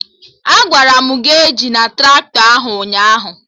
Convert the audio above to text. Agwara m gị ejina Traktọ ahụ ụnyaahụ!